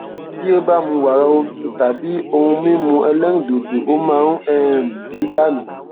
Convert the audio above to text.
bí ó bá mu wàrà omi tàbí ohun mímú ẹlẹrìndòdò ó máa ń um bì í dànù